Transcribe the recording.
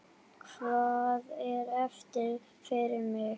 Hvað er eftir fyrir mig?